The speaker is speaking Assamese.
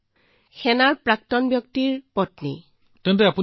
এয়া এজন প্ৰাক্তন সেনাৰ পত্নীয়ে কৈ আছো ছাৰ